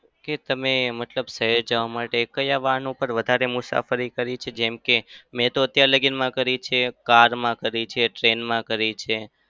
કે તમે મતલબ શહેર જવા માટે ક્યાં વાહન ઉપર વધારે મુસાફરી કરી છે? જેમ કે મેં તો અત્યાર લગીમાં કરી છે car માં કરી છે. train માં કરી છે.